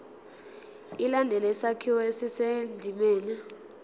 ilandele isakhiwo esisendimeni